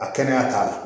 A kɛnɛya t'a la